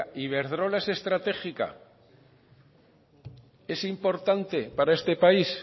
oiga iberdrola es estratégica es importante para este país